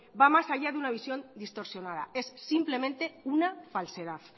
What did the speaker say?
va más allá de una visión distorsionada es simplemente una falsedad